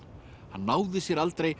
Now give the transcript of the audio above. hann náði sér aldrei